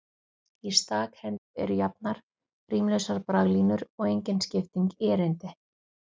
Í stakhendu eru jafnar, rímlausar braglínur og engin skipting í erindi.